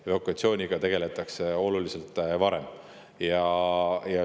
Evakuatsiooniga tegeletakse oluliselt varem.